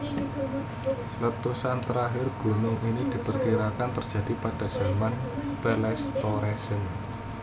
Letusan terakhir gunung ini diperkirakan terjadi pada zaman Pleistosen